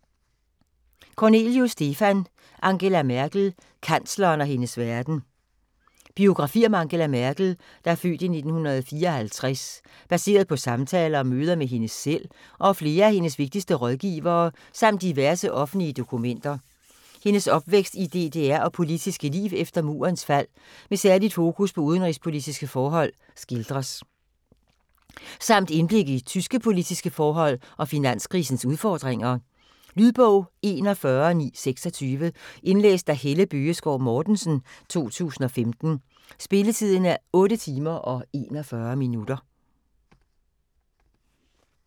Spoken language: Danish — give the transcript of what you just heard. Kornelius, Stefan: Angela Merkel: kansleren og hendes verden Biografi om Angela Merkel (f. 1954), baseret på samtaler og møder med hende selv og flere af hendes vigtigste rådgivere samt diverse offentlige dokumenter. Hendes opvækst i DDR og politiske liv efter Murens fald med særligt fokus på udenrigspolitiske forhold skildres. Samt indblik i tyske politiske forhold og finanskrisens udfordringer. Lydbog 41926 Indlæst af Helle Bøgeskov Mortensen, 2015. Spilletid: 8 timer, 41 minutter.